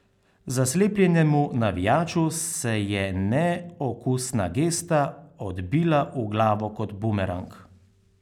Zaslepljenemu navijaču se je neokusna gesta odbila v glavo kot bumerang.